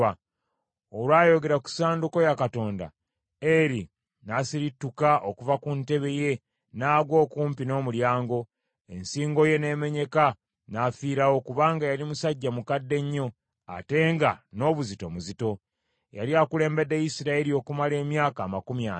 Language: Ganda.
Olwayogera ku ssanduuko ya Katonda, Eri n’asirituka okuva ku ntebe ye n’agwa okumpi n’omulyango. Ensingo ye n’emenyeka n’afiirawo kubanga yali musajja mukadde nnyo ate nga n’obuzito muzito. Yali akulembedde Isirayiri okumala emyaka amakumi ana.